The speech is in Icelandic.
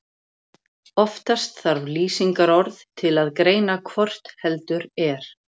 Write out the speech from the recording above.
Oftast þarf lýsingarorð til að greina hvort heldur er.